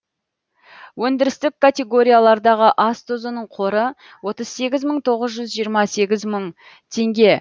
өндірістік категориялардағы ас тұзының қоры отыз сегіз мың тоғыз жүз жиырма сегіз мың тенге